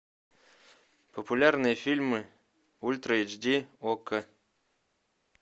популярные фильмы ультра эйч ди окко